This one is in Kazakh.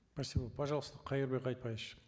спасибо пожалуйста кайырбек айтбаевич